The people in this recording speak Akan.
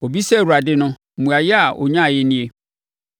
Ɔbisaa Awurade no, mmuaeɛ a ɔnyaeɛ nie: